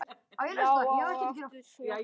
Já og aftur já.